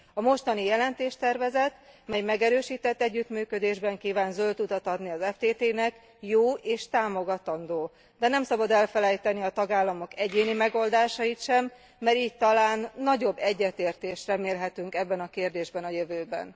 A mostani jelentéstervezet, mely megerősített együttműködésben kíván zöld utat adni az ftt nek jó és támogatandó, de nem szabad elfelejteni a tagállamok egyéni megoldásait sem, mert így talán nagyobb egyetértést remélhetünk ebben a kérdésben a jövőben.